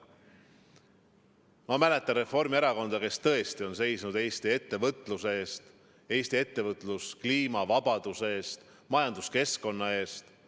Ma mäletan Reformierakonda, kes tõesti on seisnud Eesti ettevõtluse eest, Eesti ettevõtluskliima vabaduse eest, majanduskeskkonna eest.